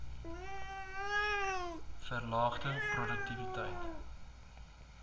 verlaagde p roduktiwiteit